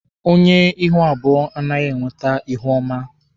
Onye ihu abụọ anaghị enwete ihuọma.